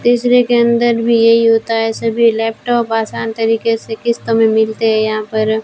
तीसरे के अंदर भी यही होता है सभी लैपटॉप आसान तरीके से किस्त में मिलते है यहां पर।